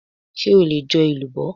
Ṣé o lè jo elubo?